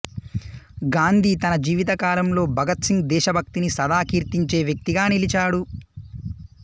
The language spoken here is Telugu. గాంధీ తన జీవితకాలంలో భగత్ సింగ్ దేశభక్తిని సదా కీర్తించే వ్యక్తిగా నిలిచాడు